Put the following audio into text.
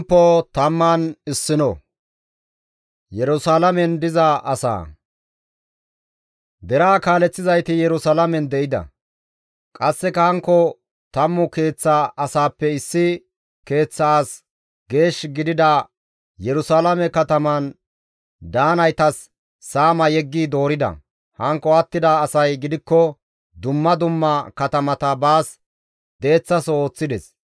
Deraa kaaleththizayti Yerusalaamen de7ida; qasseka hankko tammu keeththa asaappe issi keeththa asi geesh gidida Yerusalaame kataman daanaytas saama yeggi doorida; hankko attida asay gidikko dumma dumma katamata baas deeththaso ooththides;